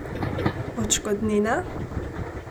Odškodnina?